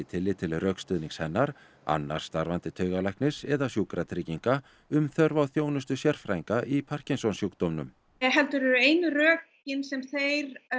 tillit til rökstuðnings hennar annars starfandi taugalæknis eða Sjúkratrygginga um þörf á þjónustu sérfræðinga í Parkinsons sjúkdómnum heldur eru einu rökin sem þeir